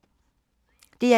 DR1